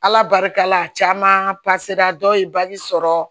Ala barika la caman dɔw ye sɔrɔ